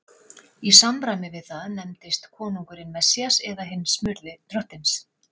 Í samræmi við það nefndist konungurinn Messías eða hinn smurði Drottins.